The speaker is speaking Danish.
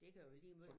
Det kan være lige måj